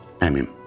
Əmim.